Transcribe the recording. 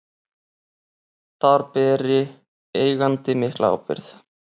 Þar beri eigandi mikla ábyrgð.